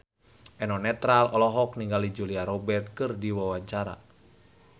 Eno Netral olohok ningali Julia Robert keur diwawancara